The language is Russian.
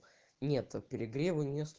нету перегрева